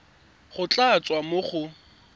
go tla tswa mo go